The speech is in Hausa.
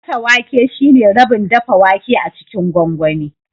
Gasa wake shine rabin dafa wake a cikin gwangwani